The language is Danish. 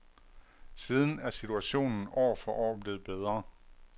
Siden er situationen år for år blevet bedre.